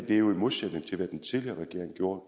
jo i modsætning til hvad den tidligere regering gjorde